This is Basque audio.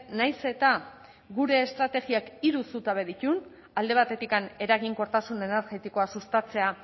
nahiz eta gure estrategiak hiru zutabe dituen alde batetik eraginkortasun energetikoa sustatzea